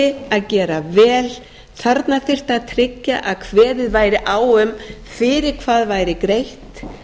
þyrfti að gera vel þarna þyrfti að tryggja að kveðið væri á um fyrir hvað væri greitt